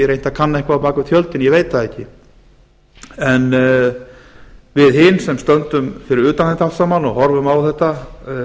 að kanna eitthvað bak við tjöldin ég veit það ekki en við hin sem stöndum fyrir utan þetta allt saman og horfum á þetta